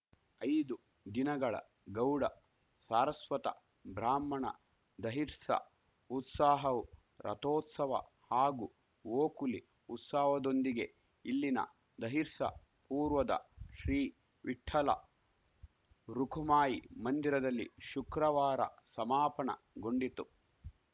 ಐದು ದಿನಗಳ ಗೌಡ ಸಾರಸ್ವತ ಬ್ರಾಹ್ಮಣ ದಹಿರ್ಸ ಉತ್ಸಾಹವು ರಥೋತ್ಸವ ಹಾಗೂ ಓಕುಲಿ ಉತ್ಸವದೊಂದಿಗೆ ಇಲ್ಲಿನ ದಹಿರ್ಸ ಪೂರ್ವದ ಶ್ರೀ ವಿಠಲ ರುಖುಮಾಯಿ ಮಂದಿರದಲ್ಲಿ ಶುಕ್ರವಾರ ಸಮಾಪನ ಗೊಂಡಿತು